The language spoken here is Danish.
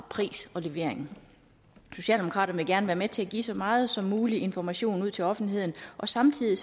pris og levering socialdemokraterne vil gerne være med til at give så meget som mulig information ud til offentligheden og samtidig